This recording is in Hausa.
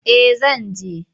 Eh zan je.